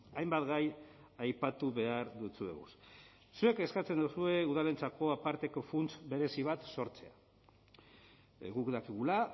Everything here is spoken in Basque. hainbat gai aipatu behar dutzueguz zuek eskatzen duzue udalentzako aparteko funts berezi bat sortzea guk dakigula